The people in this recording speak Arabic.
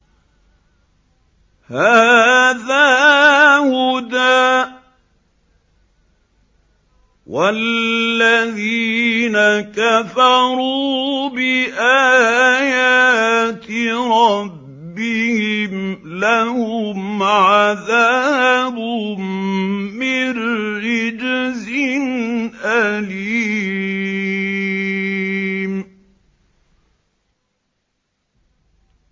هَٰذَا هُدًى ۖ وَالَّذِينَ كَفَرُوا بِآيَاتِ رَبِّهِمْ لَهُمْ عَذَابٌ مِّن رِّجْزٍ أَلِيمٌ